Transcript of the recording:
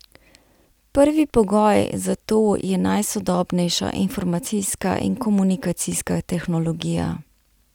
Prvi pogoj za to je najsodobnejša informacijska in komunikacijska tehnologija.